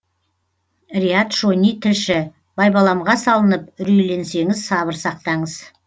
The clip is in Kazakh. риат шони тілші байбаламға салынып үрейленсеңіз сабыр сақтаңыз